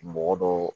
Mɔgɔ dɔ